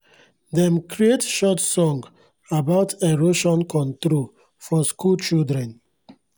dem create short song about erosion control for school children